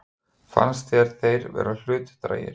Fannst þér þeir vera hlutdrægir?